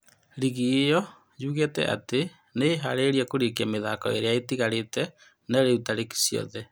Rigi ĩyo yuugĩte atĩ nĩĩharĩrĩirie kũrĩkia mĩthako ĩrĩa ĩtigaire. No rĩu tarĩki ciothe.